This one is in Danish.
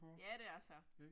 Ja, det er så